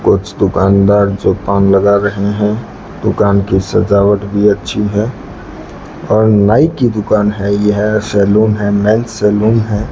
कुछ दुकानदार जो पान लगा रहे हैं दुकान की सजावट भी अच्छी है और नाई की दुकान है यह सैलून है मेन सैलून है।